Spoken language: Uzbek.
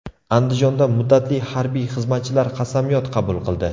Andijonda muddatli harbiy xizmatchilar qasamyod qabul qildi .